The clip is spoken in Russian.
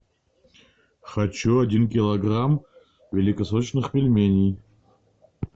хочу один килограмм великосочных пельменей